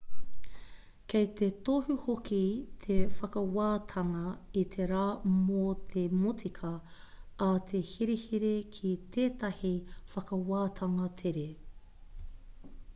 kei te tohu hoki te whakawātanga i te rā mō te motika a te herehere ki tētahi whakawātanga tere